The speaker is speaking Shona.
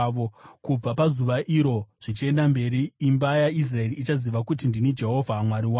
Kubva pazuva iro zvichienda mberi, imba yaIsraeri ichaziva kuti ndini Jehovha Mwari wavo.